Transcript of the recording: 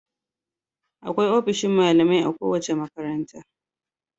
Akwai ofishin malamai a kowace makaranta.